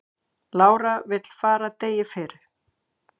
Lára vill fara degi fyrr